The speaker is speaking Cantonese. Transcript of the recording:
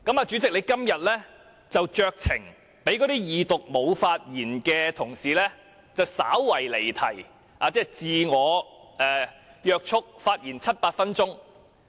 主席今天酌情讓二讀時沒有發言的同事稍為離題，自我約束，發言七八分鐘。